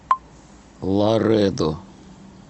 ларедо